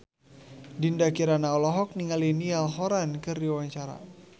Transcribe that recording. Dinda Kirana olohok ningali Niall Horran keur diwawancara